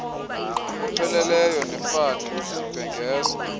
apheleleyo nefani ndibhengeza